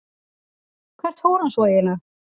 Hvert fór hann svo eiginlega?